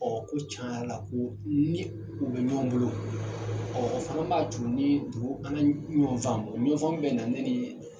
Ɔ ko cayala ko ni u bɛ ɲɔgɔn bolo ɔ o fana b'a t'u ni dugu an na ɲɔgɔn faamu o ɲɔgɔnfaamu bɛ na ne ni